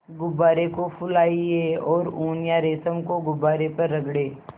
गुब्बारे को फुलाएँ और ऊन या रेशम को गुब्बारे पर रगड़ें